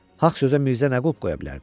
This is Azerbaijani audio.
Haqq sözə Mirzə nə qulp qoya bilərdi?